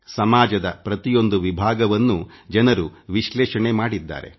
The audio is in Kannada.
ಸಮಾಜದ ಪ್ರತಿಯೊಂದು ವಿಭಾಗವನ್ನೂ ಜನರು ವಿಶ್ಲೇಷಣೆ ಮಾಡಿದ್ದಾರೆ